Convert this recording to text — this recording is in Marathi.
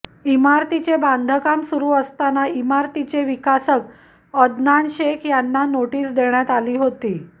इमारतीचे बांधकाम सुरू असताना इमारतीचे विकासक अदनान शेख यांना नोटिस देण्यात आली होती